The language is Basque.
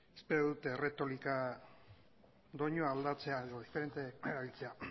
espero dut erretorika doinua aldatzea edo diferente erabiltzea